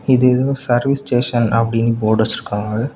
இது எதோ service station அப்படின்னு போர்டு வச்சிருக்காங்க.